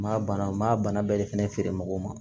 Maa bana maa bana bɛ de fɛnɛ feere mɔgɔw ma